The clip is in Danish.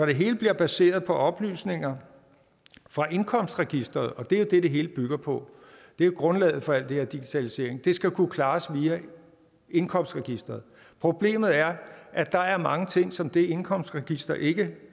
det hele bliver baseret på oplysninger fra indkomstregisteret det er jo det det hele bygger på det er jo grundlaget for al den her digitalisering at det skal kunne klares via indkomstregisteret problemet er at der er mange ting som det indkomstregister ikke